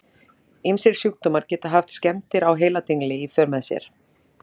Ýmsir sjúkdómar geta haft skemmdir á heiladingli í för með sér.